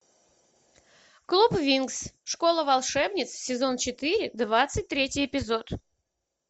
клуб винкс школа волшебниц сезон четыре двадцать третий эпизод